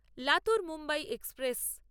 Latur Mumbai express